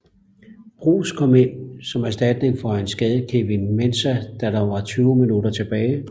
Bruus kom ind som erstatning for en skadet Kevin Mensah da der var 20 minutter tilbage